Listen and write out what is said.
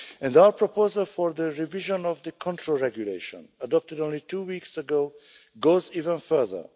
Our proposal for the revision of the control regulation, adopted only two weeks ago, goes even further.